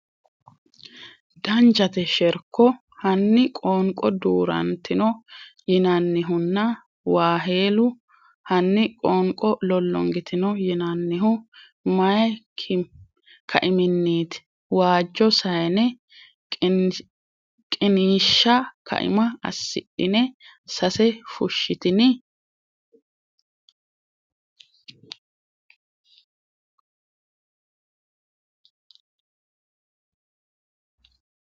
Danchate sherko, hanni qoonqo duu’rantino yinannihuna? waahelu Hanni qoonqo lollongitino yinannihu may kaiminniiti? waajo sayne qiniishsha kaima assidhine sase Fushshitini?